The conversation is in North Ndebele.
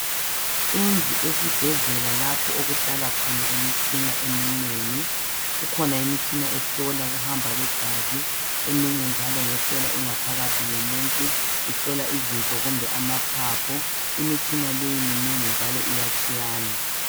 Indlu esibhedlela lapho okuhlala khona imitshina eminengi, kukhona imitshina ehlola ukuhamba kwegazi eminye njalo ngehlola ingaphakathi yomuntu ihlola izinso kumbe amaphaphu. Imitshina leyi minengi njalo iyatshiyana.